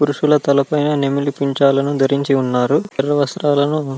పురుషుల తలల పై నెమలి పింఛాలు ధరించారు ఇంకా తెల్లటి వస్త్రాలు--